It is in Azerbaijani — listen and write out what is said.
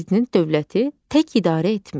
Prezident dövləti tək idarə etmir.